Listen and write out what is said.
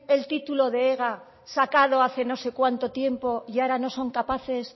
el título de ega sacado hace no sé cuánto tiempo y ahora no son capaces